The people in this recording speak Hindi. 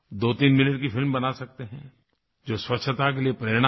23 मिनट की फिल्म बना सकते हैं जो स्वच्छता के लिए प्रेरणा दे